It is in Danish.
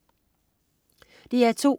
DR2: